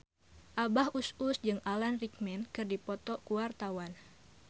Abah Us Us jeung Alan Rickman keur dipoto ku wartawan